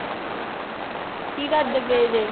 ਕੀ ਕਰਦੇ ਪਏ ਜੇ?